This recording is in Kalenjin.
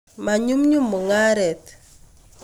manyumnyum mungaret